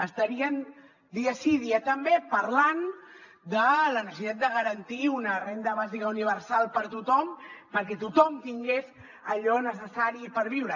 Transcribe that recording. estarien dia sí dia també parlant de la necessitat de garantir una renda bàsica universal per a tothom perquè tothom tingués allò necessari per viure